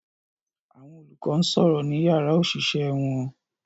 Àwọn olùkọ́ ń sọ̀rọ̀ ní yàrá òṣìṣẹ́ wọn